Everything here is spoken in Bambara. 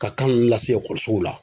Ka kan ninnu lase ekɔlisow la.